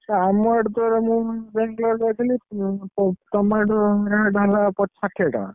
ସେ ଆମ ଇଆଡେ ତ ମୁଁ ଯାଇଥିଲି tomato rate ହେଲା ଷାଠିଏ ଟଙ୍କା।